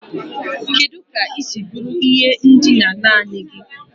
Kedu ka ị siri bu ihe ndina naanị gị?